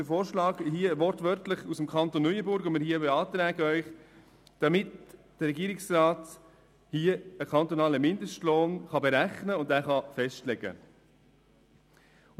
Unser Antrag entspricht wortwörtlich der Gesetzesbestimmung des Kantons Neuenburg, damit der Regierungsrat hier einen kantonalen Mindestlohn berechnen und festlegen kann.